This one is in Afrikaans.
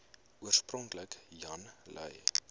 oorspronklik jan lui